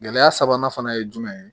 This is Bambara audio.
Gɛlɛya sabanan fana ye jumɛn ye